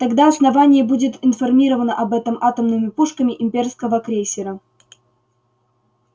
тогда основание будет информировано об этом атомными пушками имперского крейсера